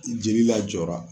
I Jeli lajɔ.